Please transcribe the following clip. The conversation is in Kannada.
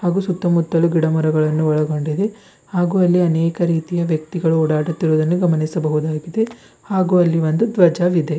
ಹಾಗು ಸುತ್ತಮುತ್ತಲು ಗಿಡ ಮರಗಳನ್ನು ಒಳಗೊಂಡಿದೆ ಹಾಗು ಅಲ್ಲಿ ಅನೇಕ ರೀತಿಯ ವ್ಯಕ್ತಿಗಳು ಓಡಾಡುತ್ತಿರುವುದನ್ನು ಗಮನಿಸಬಹುದಾಗಿದೆ ಹಾಗು ಅಲ್ಲಿ ಒಂದು ಧ್ವಜವಿದೆ.